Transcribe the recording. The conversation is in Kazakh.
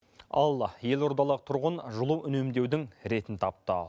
ал елордалық тұрғын жылу үнемдеудің ретін тапты